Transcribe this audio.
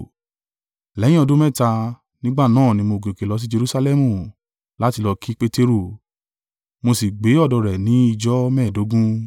Lẹ́yìn ọdún mẹ́ta, nígbà náà ni mo gòkè lọ sì Jerusalẹmu láti lọ kì Peteru, mo sì gbé ọ̀dọ̀ rẹ̀ ní ìjọ mẹ́ẹ̀ẹ́dógún,